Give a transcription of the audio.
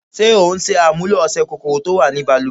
Ṣé o ń ṣàmúlò ọṣẹ́ kòkòrò tí ó wà ni baluwẹ̀?